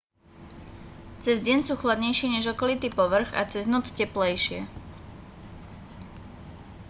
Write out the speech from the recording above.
cez deň sú chladnejšie než okolitý povrch a cez noc teplejšie